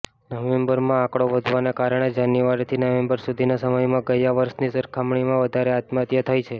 નવેમ્બરમાં આંકડો વધવાના કારણે જાન્યુઆરીથી નવેમ્બર સુધીના સમયમાં ગયા વર્ષની સરખામણીમાં વધારે આત્મહત્યા થઈ છે